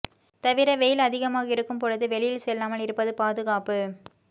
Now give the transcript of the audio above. தவிர வெயில் அதிகமாக இருக்கும் பொழுது வெளியில் செல்லாமல் இருப்பது பாதுகாப்பு